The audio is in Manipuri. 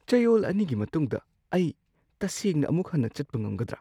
ꯆꯌꯣꯜ ꯑꯅꯤꯒꯤ ꯃꯇꯨꯡꯗ ꯑꯩ ꯇꯁꯦꯡꯅ ꯑꯃꯨꯛ ꯍꯟꯅ ꯆꯠꯄ ꯉꯝꯒꯗ꯭ꯔꯥ?